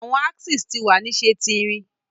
Awọn axes ti wa ni ṣe ti irin